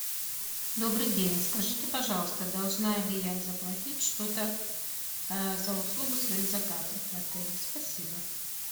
добрый день скажите пожалуйста должна ли я заплатить что то за услугу своих заказов в отеле спасибо